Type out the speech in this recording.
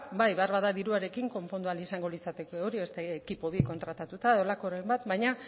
bai beharbada diruarekin konpondu ahal izango litzateke beste ekipo bi kontratatuta edo holakoren bat baina